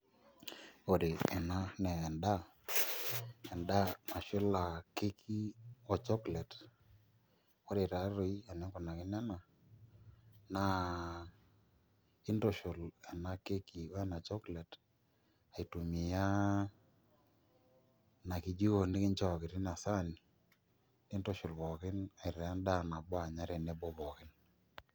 Ore enaa na endaa, endaa nashula keki o chocolate ore taatoi enikunakino ena naa intushul enakeki wena chocolate aitumia inakijiko nikinchooki tinasaani mintushul pookin aitaa endaa nabo anya tenebo pookin.